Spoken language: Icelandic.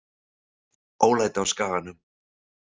Ólæti á Skaganum